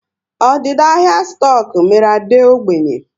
Ọdịda ahịa stoku mere Ade ógbènye